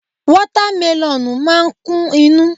Wata meloonu máa ń kún inú.